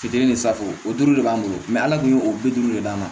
Fitini de sago o duuru de b'an bolo ala tun ye o bi duuru de d'an ma